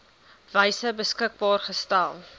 wyse beskikbaar gestel